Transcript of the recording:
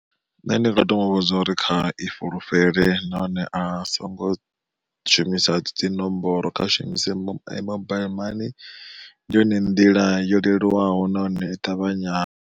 Nṋe ndi nga to muvhudza uri kha i fhulufhele nahone a songo shumisa dzinomboro kha shumise mobile money ndi yone nḓila yo leluwaho nahone i ṱavhanya.